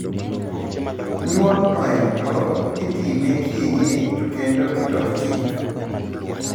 Nyuol mno endo itime kienyeji to kendo kitok chik